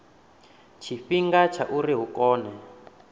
tshifhinga tsha uri hu kone